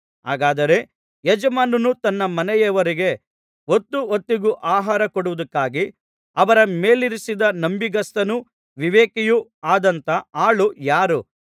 ಹಾಗಾದರೆ ಯಜಮಾನನು ತನ್ನ ಮನೆಯವರಿಗೆ ಹೊತ್ತು ಹೊತ್ತಿಗೆ ಆಹಾರ ಕೊಡುವುದಕ್ಕಾಗಿ ಅವರ ಮೇಲಿರಿಸಿದ ನಂಬಿಗಸ್ತನೂ ವಿವೇಕಿಯೂ ಆದಂಥ ಆಳು ಯಾರು